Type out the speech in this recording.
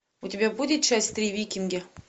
у тебя будет часть три викинги